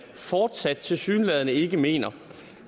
fortsat tilsyneladende ikke mener